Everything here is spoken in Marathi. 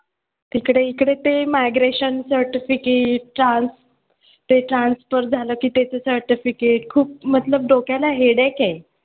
तिकडे इकडे ते migration certificate ते transfer झालं की त्याचं certificate खूप मतलब डोक्याला headache आहे.